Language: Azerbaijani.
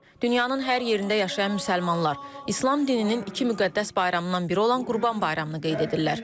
Dünyanın hər yerində yaşayan müsəlmanlar İslam dininin iki müqəddəs bayramından biri olan Qurban Bayramını qeyd edirlər.